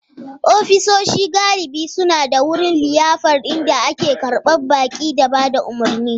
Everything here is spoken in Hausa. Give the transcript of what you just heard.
Ofisoshi galibi suna da wurin liyafar inda ake karɓar baƙi da ba da umarni.